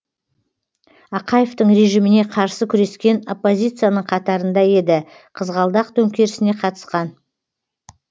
ақаевтың режиміне қарсы күрескен оппозицияның қатарында еді қызғалдақ төңкерісіне қатысқан